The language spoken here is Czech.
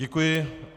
Děkuji.